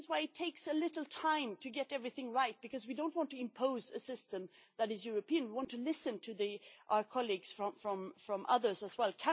That is why it takes a little time to get everything right, because we do not want to impose a system that is European we want to listen to our colleagues from other regions as well.